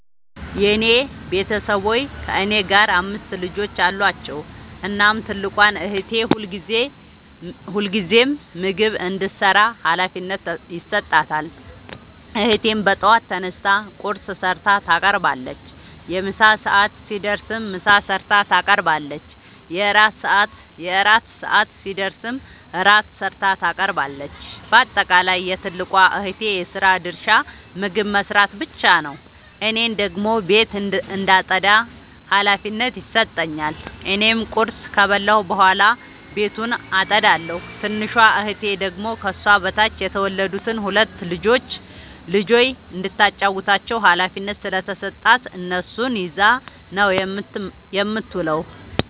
የኔ ቤተሠቦይ ከእኔ ጋር አምስት ልጆች አሏቸዉ። እናም ትልቋን እህቴ ሁልጊዜም ምግብ እንድትሰራ ሀላፊነት ይሠጣታል። እህቴም በጠዋት ተነስታ ቁርስ ሠርታ ታቀርባለች። የምሣ ሰዓት ሲደርስም ምሳ ሠርታ ታቀርባለች። የእራት ሰዓት ሲደርስም ራት ሠርታ ታቀርባለች። ባጠቃለይ የትልቋ እህቴ የስራ ድርሻ ምግብ መስራት ብቻ ነዉ። እኔን ደግሞ ቤት እንዳጠዳ ሀላፊነት ይሠጠኛል። እኔም ቁርስ ከበላሁ በኃላ ቤቱን አጠዳለሁ። ትንሿ እህቴ ደግሞ ከሷ በታች የተወለዱትን ሁለት ልጆይ እንዳታጫዉታቸዉ ሀላፊነት ስለተሠጣት እነሱን ይዛ ነዉ የምትዉለዉ።